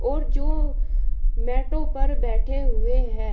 और जो मैटो पर बैठे हुए है।